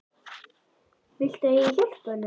Viltu að ég hjálpi honum?